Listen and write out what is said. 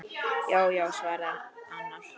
Já já, svaraði annar.